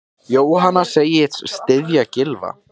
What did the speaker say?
Jóhanna segist styðja Gylfa.